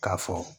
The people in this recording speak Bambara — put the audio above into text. K'a fɔ